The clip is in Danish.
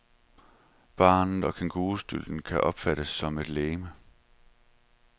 Barnet og kængurustylten kan opfattes som et legeme.